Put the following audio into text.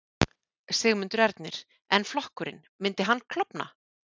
Sigmundur Ernir: En flokkurinn, myndi hann klofna?